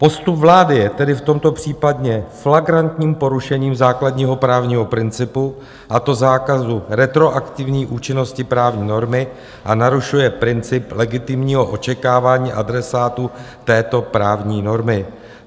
Postup vlády je tedy v tomto případě flagrantním porušením základního právního principu, a to zákazu retroaktivní účinnosti právní normy, a narušuje princip legitimního očekávání adresátů této právní normy.